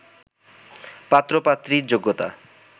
পাত্র-পাত্রীর যোগ্যতা